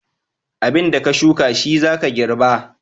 Abin da ka shuka shi za ka girɓa.